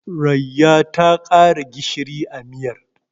Rayya ta ƙara gishiri a miyar.